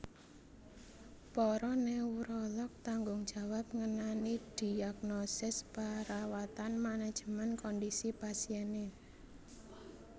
Para neurolog tanggung jawab ngenani dhiagnosis parawatan manajemen kondhisi pasiené